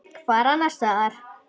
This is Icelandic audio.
Hvar annars staðar?